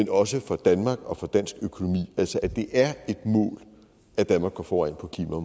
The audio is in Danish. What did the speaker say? også for danmark og for dansk økonomi altså at det er et mål at danmark går foran